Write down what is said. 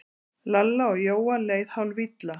Lalla og Jóa leið hálfilla.